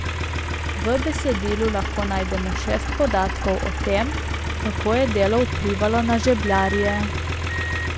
V besedilu lahko najdemo šest podatkov o tem, kako je delo vplivalo na žebljarje.